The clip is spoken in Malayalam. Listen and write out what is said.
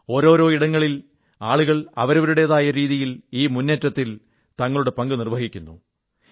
ഓരോരോ ഇടങ്ങളിൽ ആളുകൾ അവരുടേതായ രീതിയിൽ ഈ മൂന്നേറ്റത്തിൽ തങ്ങളുടെ പങ്ക് നിർവ്വഹിക്കുന്നു